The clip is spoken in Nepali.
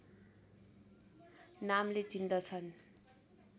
नामले चिन्दछन्